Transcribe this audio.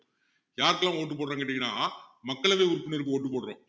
யாருக்கெல்லாம் vote போடுறோம்னு கேட்டீங்கண்ணா மக்களவை உறுப்பினருக்கு vote போடுறோம்